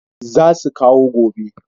Za su kawo gobe